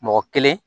Mɔgɔ kelen